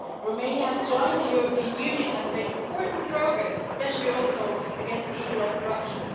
Romania has joined the European Union and has made important progress, especially against the evil of corruption.